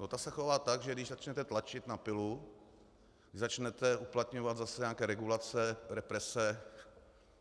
No ta se chová tak, že když začnete tlačit na pilu, když začnete uplatňovat zase nějaké regulace, represe,